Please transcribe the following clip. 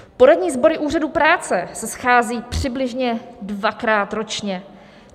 Poradní sbory úřadů práce se scházejí přibližně dvakrát ročně.